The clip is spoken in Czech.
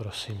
Prosím.